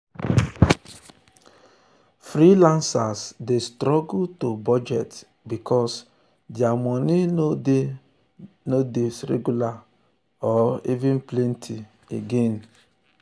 freelancers dey struggle to budget because dia moni no dia moni no dey regular or dey plenty every mont.